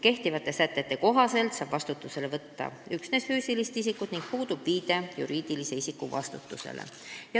Kehtivate sätete kohaselt saab vastutusele võtta üksnes füüsilist isikut ning puudub viide juriidilise isiku vastutusele.